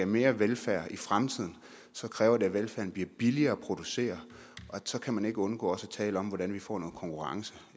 mere velfærd i fremtiden kræver det at velfærden bliver billigere at producere og så kan man ikke undgå også at tale om hvordan vi får noget konkurrence